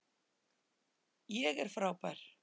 ÉG ER FRÁBÆR.